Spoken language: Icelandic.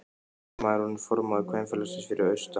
Amma er orðin formaður kvenfélagsins fyrir austan.